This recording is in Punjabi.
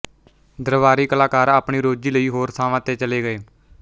ਦਰਬਾਰੀ ਕਲਾਕਾਰ ਆਪਣੀ ਰੋਜ਼ੀ ਲਈ ਹੋਰ ਥਾਵਾਂ ਤੇ ਚਲੇ ਗਏ